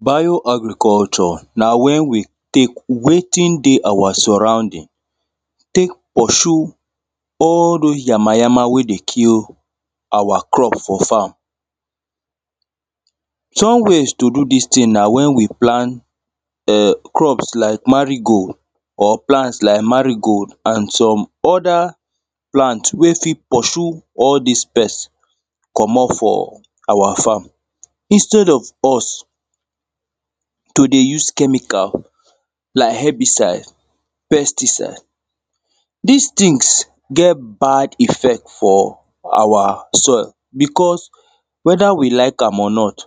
Bio agriculture na when we take wetin dey our surrounding take pursue all those yama, yama wey dey kill our crop for farm. Some ways to do this thing na when we plant, em, crops like marigo or plant like marigo and some other plant wey fit pursue all these pest commot for our farm. Instead of us to dey use chemical like herbicide, pesticide. These things get bad effect for our soil because whether we like am or not,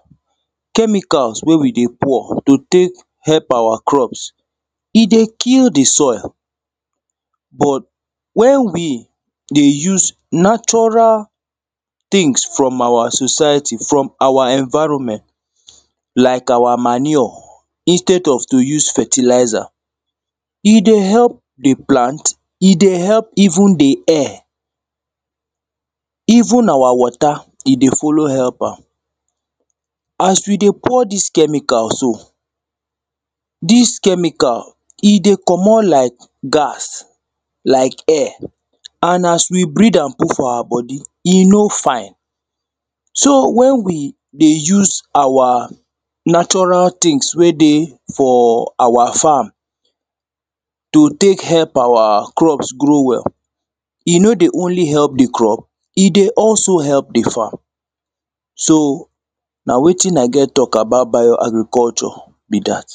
chemicals wey we dey pour to take help our crops, e dey kill the soil, but, when we dey use natural things from our society, from our environment like our manure instead of to use fertilizer, e dey help the plant, e dey help even the air, even our water, e dey follow help am, as we dey pour this chemical, so, this chemical, e dey commot like gas like air, and as we breath am put for our body, e no fine. So, when we dey use our natural things wey dey for our farm to take help our crops grow well, e no dey only help the crop, e don also help the farm, so, na wetin I get talk about bio agriculture be that